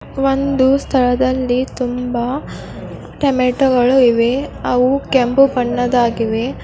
ಒಂದು ಸ್ತಳದಲ್ಲಿ ತುಂಬಾ ತೋಮಾಟೊಗಳು ಇವೆ ಅವು ಕೆಂಪು ಬಣ್ಣದಾಗಿವೇ.